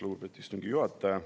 Lugupeetud istungi juhataja!